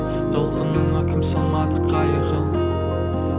толқынына кім салмады қайығын